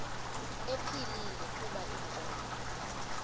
ephilile kuba inkomo